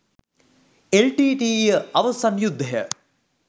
L T T E අවසන් යුද්ධය